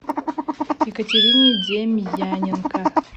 екатерине демьяненко